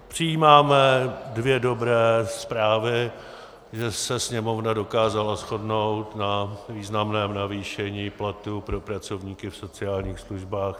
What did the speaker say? Přijímáme dvě dobré zprávy - že se Sněmovna dokázala shodnout na významném navýšení platů pro pracovníky v sociálních službách.